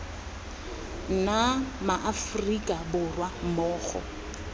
nna ma aforika borwa mmogo